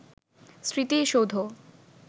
স্মৃতিসৌধ